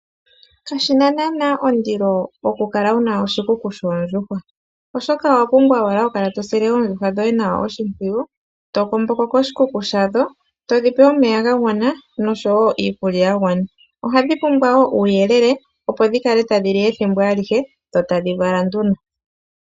Kashi na naana ondilo oku kala wu na oshikuku shoondjuhwa. Oshoka owa pumbwa wala oku kala tosile oondjuhwa dhoye nawa oshimpwiyu. To komboko koshikuku shadho, todhipe omeya gagwana nosho wo iikulya yagwana. Ohadhi pumbwa wo uuyelele opo dhikale tadhi li ethimbo alihe, dho tadhi vala nduno.